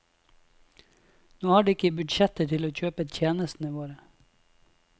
Nå har de ikke budsjetter til å kjøpe tjenestene våre.